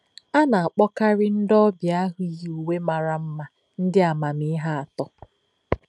A na-akpọkarị ndị ọbịa ahụ yi uwe mara mma ndị amamihe atọ.